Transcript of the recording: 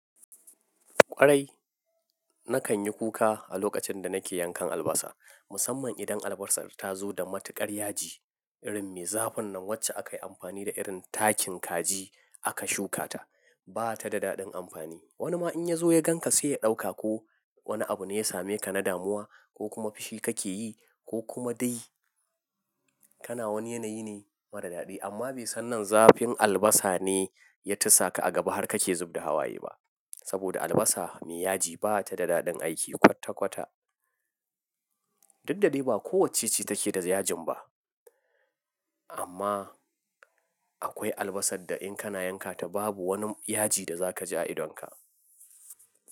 Kwarai, na kan yi kuka a lokacin da nake yankan albasa, musamman idan albasar ta zo da matuƙar yaji. Irin me zafin nan wacce aka yi amfani da irin takin kaji aka shuka ta. Ba ta da daɗin amfani. Wani ma in ya zo ya gan ka sai ya ɗauka ko wani abu ne ya same ka na damuwa ko kuma fushi kake yi ko kuma dai kana wani yanayi ne mara daɗi. Amma bai san nan zafin albasa ne ya tisa ka a gaba har kake zub da hawaye ba. Saboda albasa mai yaji ba ta da daɗin aiki kwatta kwatta. Duk da dai ba kowacce ce take da yajin ba. Amma akwai albasar da in kana yanka ta babu wani yaji da za ka ji a idonka.